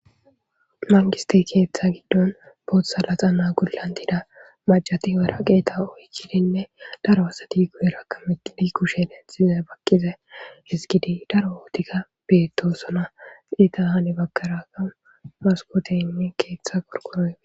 mangiste keeththa giddon boothsa laxa naa gulantida majatiyera qeeta oykkidinne daro asati kuherakameqili kushe lenxize bakqize hisgidi daro wootikka beettosona qeta hani bakaraga maskoteynne keeththa gorqoroy